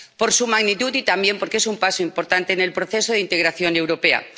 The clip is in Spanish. Por su magnitud y también porque es un paso importante en el proceso de integración europea.